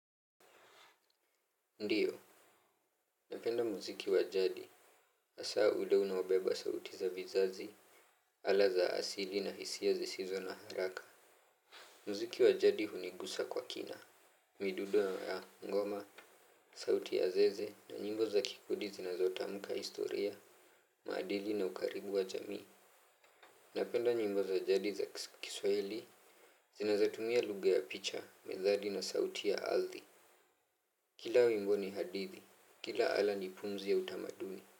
Ndiyo, napenda muziki wa jadi, asaa ule unaobeba sauti za vizazi, ala za asili na hisia zisizo na haraka. Mziki wa jadi hunigusa kwa kina, midudo ya ngoma, sauti ya zeze na nyimbo za kikudi zinazotamuka historia, maadili na ukaribu wa jamii. Napenda nyimbo za jadi za kiswahili, zinazotumia lugha ya picha, methali na sauti ya aldhi. Kila wimbo ni hadithi, kila ala ni pumzi ya utamaduni.